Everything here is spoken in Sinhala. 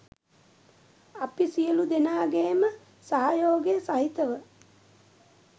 අපි සියලුදෙනාගේම සහයෝගය සහිතව